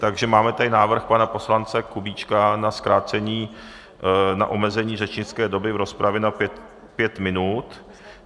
Takže máme tady návrh pana poslance Kubíčka na zkrácení, na omezení řečnické doby v rozpravě na pět minut.